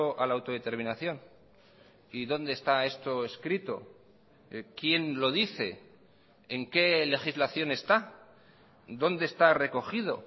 a la autodeterminación y dónde está esto escrito quién lo dice en que legislación está dónde está recogido